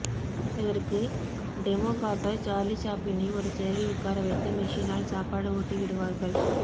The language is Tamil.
இதற்கு டெமோ காட்ட சார்லி சாப்ளினை ஒரு சேரில் உட்கார வைத்து மிஷினால் சாப்பாடு ஊட்டி விடுவார்கள்